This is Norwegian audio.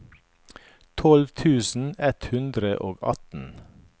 tolv tusen ett hundre og atten